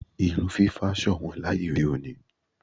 Irun fífá ṣọ̀nwọ́n láyé òde òní.